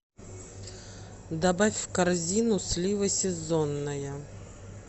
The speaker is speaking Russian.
добавь в корзину слива сезонная